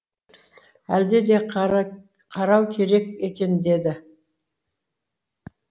әлде де қарау керек екен деді